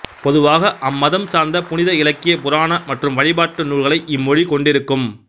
பொதுவாக அம்மதம் சார்ந்த புனித இலக்கிய புராண மற்றும் வழிபாட்டு நூல்களை இம்மொழி கொண்டிருக்கும்